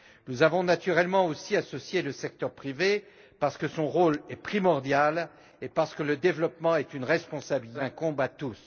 Nous avons naturellement aussi associé le secteur privé, parce que son rôle est primordial et que le développement est une responsabilité qui nous incombe à tous.